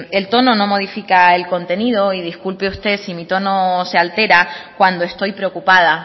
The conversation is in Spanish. el tono no modifica el contenido y disculpe usted sí mi tono se altera cuando estoy preocupada